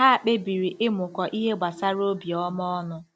Ha kpebiri ịmụkọ ihe gbasara obiọma ọnụ.